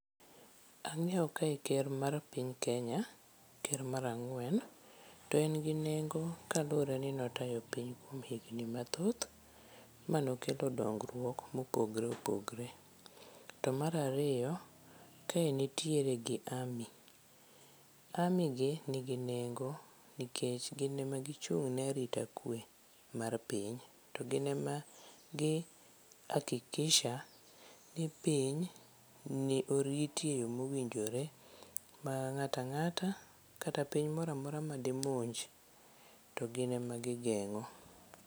Ang'eyo kae ker mar piny Kenya ker mar ang'wen .To en gi nengo kaluwore ni ne otayo piny kuom higni mathoth manokelo dongruok mopogre opogre. To mar ariyo, kae nitiere gi Army , Army gi nigi nengo nikech gin e ma gichung ne arita kwe mar piny to gin emagi hakikisha ni piny ni oriti e yoo mowinjore, to ng'ata ng'ata kata piny moramora madimonj to gin ema gigeng'o.